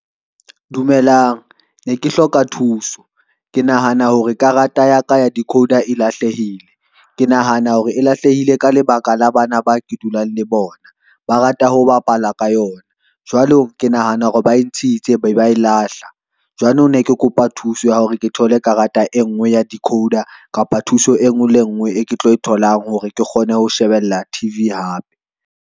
Dumelang ne ke hloka thuso ke nahana hore karata ya ka ya decoder e lahlehile, ke nahana hore e lahlehile ka lebaka la bana ba ke dulang le bona, ba rata ho bapala ka yona. Jwale ke nahana hore ba ntshitse be ba e lahla jwanong, ne ke kopa thuso ya hore ke thole karata e ngwe ya decoder kapa thuso e ngwe le e ngwe e ke tlo e tholang hore ke kgone ho shebella T_V hape.